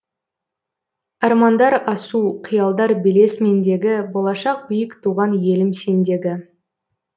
армандар асу қиялдар белес мендегі болашақ биік туған елім сендегі